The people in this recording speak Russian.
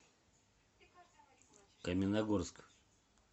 каменногорск